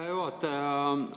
Hea juhataja!